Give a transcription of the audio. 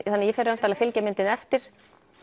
ég fer væntanlega og fylgi myndinni eftir